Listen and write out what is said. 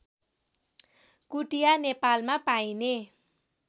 कुटिया नेपालमा पाइने